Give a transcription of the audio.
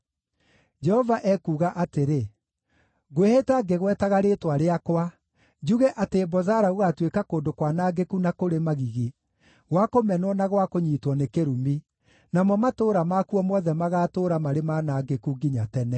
Jehova ekuuga atĩrĩ: “Ngwĩhĩta ngĩgwetaga rĩĩtwa rĩakwa, njuge atĩ Bozara gũgaatuĩka kũndũ kwanangĩku na kũrĩ magigi, gwa kũmenwo na gwa kũnyiitwo nĩ kĩrumi; namo matũũra makuo mothe magatũũra marĩ manangĩku nginya tene.”